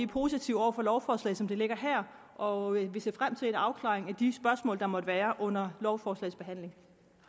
positive over for lovforslaget som det ligger her og ser frem til en afklaring af de spørgsmål der måtte være under lovforslagets behandling